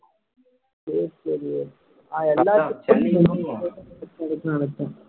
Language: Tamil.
சரி சரி விவேக் நான் எல்லாத்துக்கும் நினைச்சேன்